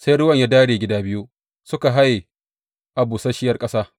Sai ruwan ya dāre gida biyu, suka haye a busasshiyar ƙasa.